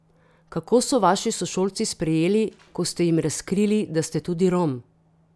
Kako so vas vaši sošolci sprejeli, ko ste jim razkrili, da ste tudi Rom?